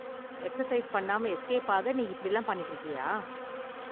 Exercise பண்ணாம escape ஆக நீ இப்படிலாம் பண்ணிட்டு இருக்கியா?